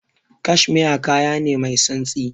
Cashmere kaya ne mai santsi.